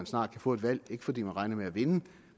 snart kan få et valg ikke fordi man regner med at vinde